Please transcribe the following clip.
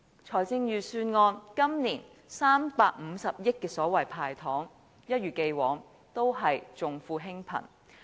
財政預算案今年350億元的所謂"派糖"，一如既往也是重富輕貧。